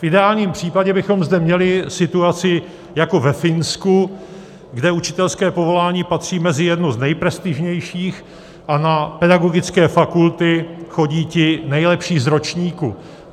V ideálním případě bychom zde měli situaci jako ve Finsku, kde učitelské povolání patří mezi jedno z nejprestižnějších a na pedagogické fakulty chodí ti nejlepší z ročníku.